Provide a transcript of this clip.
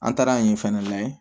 An taara yen fɛnɛ lajɛ